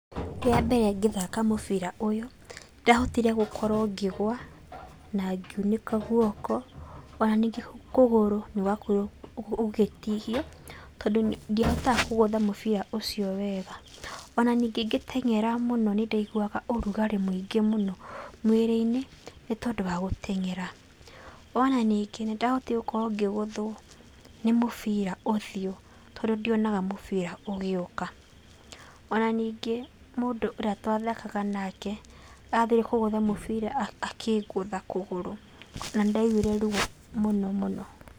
Rĩa mbere ngĩthaka mũbira ũyũ nĩndahotire gũkorwo ngĩgũa na ngiunĩka guoko, ona ningĩ kũgũrũ nĩgwakorirwo gũgĩtihio, tondũ ndiahotaga kũgũtha mũbira ũcio wega. Ona ningĩ ngĩteng'era mũno nĩndaiguaga ũrugarĩ mũingĩ mũno mwĩrĩ-inĩ, nĩ tondũ wa gũteng'era. Ona ningĩ nĩndahotire gũkorwo ngĩgũthwo nĩ mũbira ũthiũ, tondũ ndionaga mũbira ũgĩũka, ona ningĩ mũndũ ũrĩa twathakaga nake athire kũgũtha mũbira akĩngũtha kũgũrũ na nĩndaiguire ruo mũno mũno.